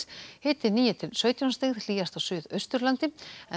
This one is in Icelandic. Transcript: hiti níu til sautján stig hlýjast á Suðausturlandi